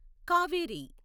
Kaveri